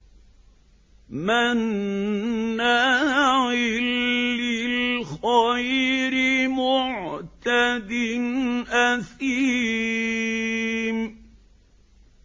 مَّنَّاعٍ لِّلْخَيْرِ مُعْتَدٍ أَثِيمٍ